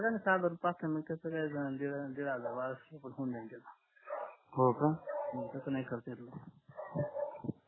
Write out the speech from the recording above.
बघाना सहा जणांचा कसा काय दीड हजार बाराशे मध्ये होऊन होऊंन जाईन होका तस नाही करता येत